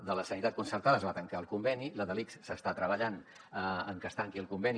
la de la sanitat concertada es va tancar el conveni la de l’ics s’està treballant en que es tanqui el conveni